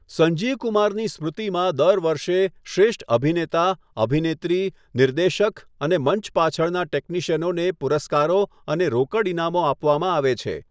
સંજીવ કુમારની સ્મૃતિમાં દર વર્ષે શ્રેષ્ઠ અભિનેતા, અભિનેત્રી, નિર્દેશક અને મંચ પાછળના ટેકનિશ્યિનને પુરસ્કારો અને રોકડ ઇનામો આપવામાં આવે છે.